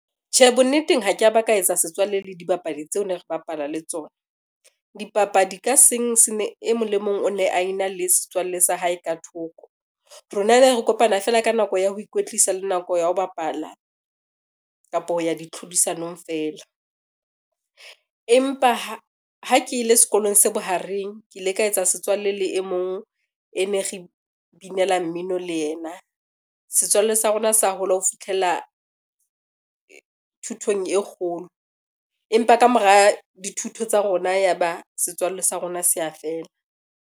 Tjhe, bonneteng ha ka ba ka etsa setswalle le dibapadi tseo ne re bapala le tsona. Dipapadi ka seng e mong le mong o ne a ena le setswalle sa hae ka thoko. Rona ne re kopana fela ka nako ya ho ikwetlisa le nako ya ho bapala kapa ho ya di tlhodisanong feela. Empa ha ke ile sekolong se bohareng, ke ile ka etsa setswalle le e mong e ne re binela mmino le yena. Setswalle sa rona sa hola ho fitlhella thutong e kgolo, empa ka mora dithuto tsa rona, ya ba setswalle sa rona se a fela.